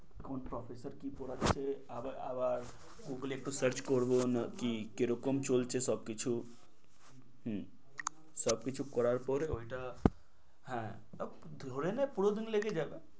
কোন professor কি পড়াচ্ছে আবার গুগলে একটু search করবো কী কিরকম চলছে সবকিছু হম সবকিছু করার পর ওইটা হ্যাঁ ধরে নে পুরোদিন লেগে যাবে।